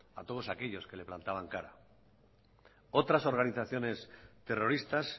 a todos aquellos que le plantaban cara otras organizaciones terroristas